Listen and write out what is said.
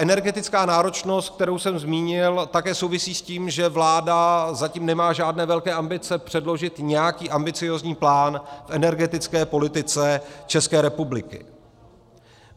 Energetická náročnost, kterou jsem zmínil, také souvisí s tím, že vláda zatím nemá žádné velké ambice předložit nějaký ambiciózní plán v energetické politice České republiky.